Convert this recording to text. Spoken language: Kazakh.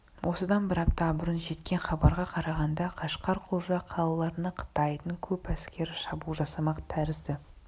осыдан бір апта бұрын жеткен хабарға қарағанда қашқар құлжа қалаларына қытайдың көп әскері шабуыл жасамақ тәрізді